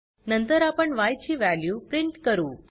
नंतर आपण य ची वॅल्यू प्रिंट करू